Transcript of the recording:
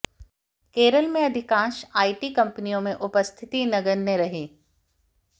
केरल में अधिकांश आईटी कंपनियों में उपस्थिति नगण्य रही